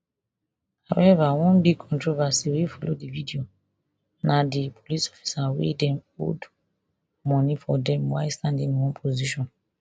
however one big controversy wey follow di video na di police officer wey dey hold money for dem while standing in one position